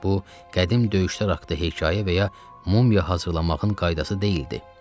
Bu, qədim döyüşlər haqda hekayə və ya mumya hazırlamağın qaydası deyildi.